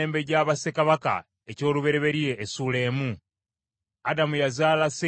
Adamu yazaala Seezi, Seezi n’azaala Enosi;